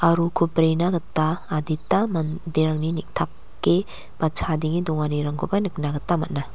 aro uko brena gita adita manderangni neng·take ba chadenge donganirangkoba nikna gita man·a.